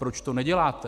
Proč to neděláte?